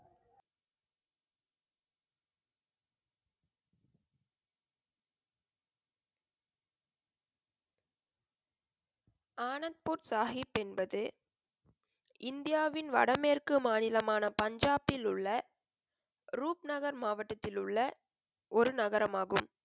ஆனந்த்பூர் சாஹிப் என்பது இந்தியாவின் வட மேற்கு மாநிலமான பஞ்சாப்பில் உள்ள ரூப் நகர் மாவட்டத்தில் உள்ள ஒரு நகரம் ஆகும்.